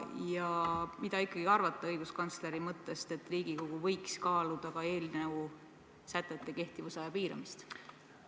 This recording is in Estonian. Ja mida te ikkagi arvate õiguskantsleri mõttest, et Riigikogu võiks kaaluda eelnõu sätete kehtivusaja piiramist?